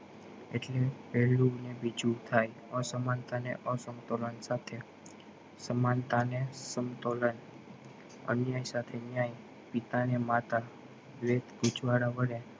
એટલે પેલું ને બીજું થાય અસમાનતા ને અસંતોલન સાથે સમાનતા ને સંતોલન અન્ય સાથે ન્યાય પિતા ને માતા પૂછવાના વડે